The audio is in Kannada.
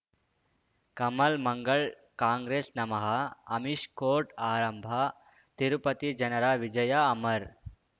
ಕಮಲ್ ಮಂಗಳ್ ಕಾಂಗ್ರೆಸ್ ನಮಃ ಅಮಿಷ್ ಕೋರ್ಟ್ ಆರಂಭ ತಿರುಪತಿ ಜನರ ವಿಜಯ ಅಮರ್